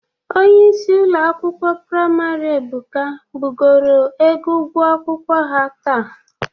Onyeisi ụlọ akwụkwọ priamarị Ebuka bugoro ego ụgwọ akwụkwọ ha taata.